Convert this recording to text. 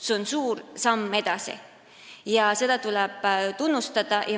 See on suur samm edasi ja seda tuleb tunnustada.